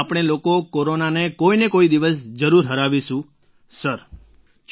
આપણે લોકો કોરોનાને કોઈ ને કોઈ દિવસે જરૂર હરાવીશું સરજી